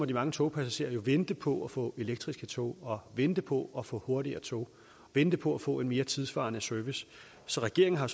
de mange togpassagerer vente på at få elektriske tog og vente på at få hurtigere tog vente på at få en mere tidssvarende service så regeringen har